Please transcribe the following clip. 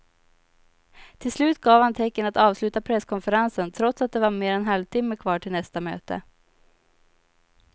Till slut gav han tecken att avsluta presskonferensen trots att det var mer än en halvtimme kvar till nästa möte.